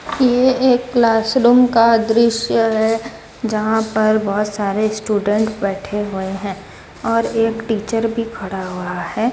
यह एक classroom का दृश्य है जहां पर बहुत सारे स्टूडेंट बैठे हुए हैं और एक टीचर भी खड़ा हुआ है।